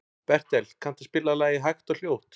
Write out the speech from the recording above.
Bertel, kanntu að spila lagið „Hægt og hljótt“?